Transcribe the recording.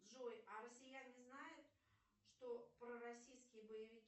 джой а россияне знают что пророссийские боевики